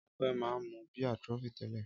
Ọpẹ́ máa ń mú bíà Trophy tẹ́lẹ̀.